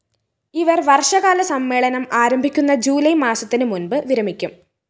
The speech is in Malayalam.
ഇവര്‍ വര്‍ഷകാല സമ്മേളനം ആരംഭിക്കുന്ന ജൂലൈ മാസത്തിന് മുന്‍പ് വിരമിക്കും